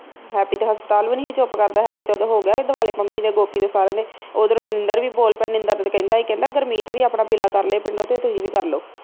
happy ਤੇ ਹਸਪਤਾਲ ਵੀ ਨੀ ਹੀ ਚੁੱਪ ਕਰਦਾ ਹੈਪੀ ਤੇ ਉਦੋ ਹੋ ਗਿਆ ਹੀ ਦੁਆਲੇ ਪੰਮੀ ਦੇ ਗੋਪੀ ਦੇ ਸਾਰਿਆਂ ਦੇ ਉਧਰੋਂ ਨਿੰਦਰ ਵੀ ਬੋਲ ਪਿਆ ਹੀ ਨਿੰਦਰ ਕਹਿੰਦਾ ਹੀ ਕਹਿੰਦਾ ਗੁਰਮੀਤ ਵੀ ਆਪਣਾ ਕਰਲੇ ਪਿੰਡੋ ਤੇ ਤੁਹੀ ਵੀ ਕਰ ਲੋ